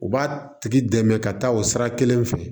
U b'a tigi dɛmɛ ka taa o sira kelen fɛ